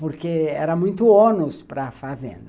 Porque era muito ônus para fazenda.